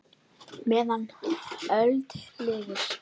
meðan öld lifir